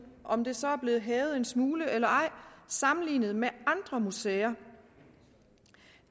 om det så er blevet hævet en smule eller ej sammenlignet med andre museer